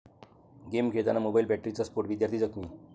game खेळताना mobile बॅटरीचा स्फोट, विद्यार्थी जखमी